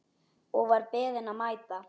Og var beðinn að mæta.